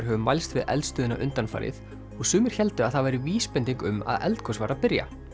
hefur mælst við eldstöðina undanfarið og sumir héldu að það væri vísbending um að eldgos væri að byrja